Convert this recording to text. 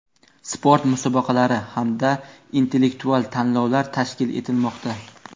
sport musobaqalari hamda intellektual tanlovlar tashkil etilmoqda.